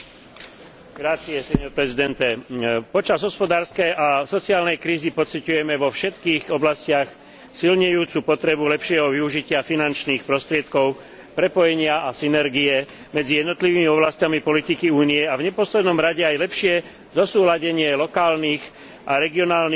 Počas hospodárskej a sociálnej krízy pociťujeme vo všetkých oblastiach silnejúcu potrebu lepšieho využitia finančných prostriedkov, prepojenia a synergie medzi jednotlivými oblasťami politiky Únie a v neposlednom rade aj lepšie zosúladenie lokálnych, regionálnych a národných rozpočtov s rozpočtom Európskej únie.